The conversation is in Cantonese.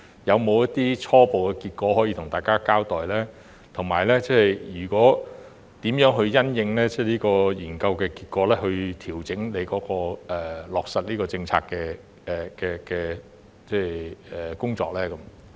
有否一些初步結果可以向大家交代，以及如何因應研究結果調整他落實政策的工作？